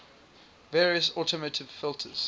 various automotive filters